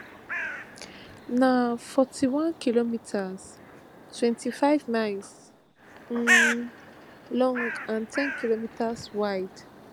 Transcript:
na forty-onekm twenty-five miles um long and ten km wide